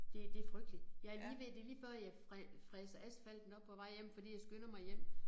Det det frygteligt jeg lige ved det lige før jeg fræser asfalten op på vej hjem fordi jeg skynder mig hjem